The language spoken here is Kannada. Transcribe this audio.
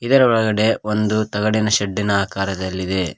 ಇದರ ಒಳಗಡೆ ಒಂದು ತಗಡಿನ ಶೆಡ್ಡಿನ ಆಕಾರದಲ್ಲಿದೆ.